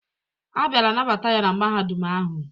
A bịara nabata ya na Mahadum ahụ.